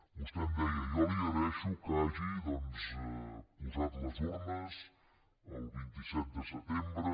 vostè em deia jo li agraeixo que hagi doncs posat les urnes el vint set de setembre